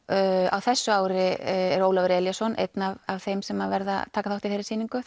á þessu ári er Ólafur Elíasson einn af þeim sem taka þátt í þeirri sýningu